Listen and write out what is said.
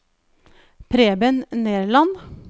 Preben Nerland